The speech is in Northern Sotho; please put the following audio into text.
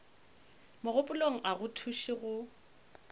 mogopolong a go thuše go